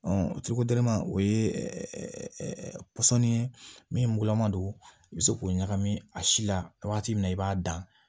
o ye pɔsɔni ye min mugulama don i bɛ se k'o ɲagami a si la waati min na i b'a dan